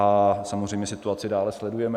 A samozřejmě situaci dále sledujeme.